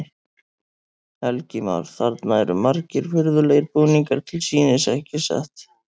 Helgi Már: Þarna eru margir furðulegir búningar til sýnis, ekki satt?